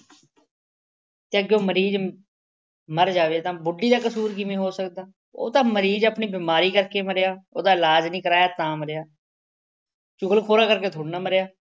ਤਾਂ ਅੱਗਿਉਂ ਮਰੀਜ਼ ਮਰ ਜਾਵੇ ਤਾਂ ਬੁੱਢੀ ਦਾ ਕਸੂਰ ਕਿਵੇਂ ਹੋ ਸਕਦਾ। ਉਹ ਤਾਂ ਮਰੀਜ਼ ਆਪਣੀ ਬਿਮਾਰੀ ਕਰਕੇ ਮਰਿਆ। ਉਹਦਾ ਇਲਾਜ ਨਹੀਂ ਕਰਾਇਆ ਤਾਂ ਮਰਿਆ। ਚੁਗਲਖੋਰਾਂ ਕਰਕੇ ਥੋੜ੍ਹੀ ਨਾ ਮਰਿਆ।